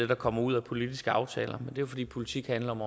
der kommer ud af politiske aftaler jo fordi politik handler om